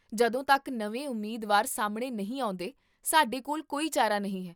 ਜਦੋਂ ਤੱਕ ਨਵੇਂ ਉਮੀਦਵਾਰ ਸਾਹਮਣੇ ਨਹੀਂ ਆਉਂਦੇ, ਸਾਡੇ ਕੋਲ ਕੋਈ ਚਾਰਾ ਨਹੀਂ ਹੈ